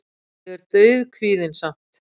Ég er dauðkvíðinn samt.